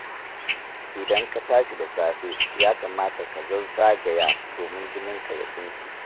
Idan ka tashi da safe ya kamata ka zazzagaya domin jininka ya tsinke.